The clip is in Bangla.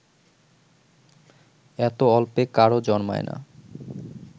এত অল্পে কারও জন্মায় না